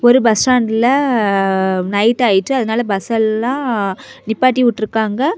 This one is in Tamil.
ஒரு பஸ் ஸ்டாண்ட்ல நைட் ஆயிட்டு அதனால பஸ்ஸெல்லாம் நிப்பாட்டி விட்டுருக்காங்க.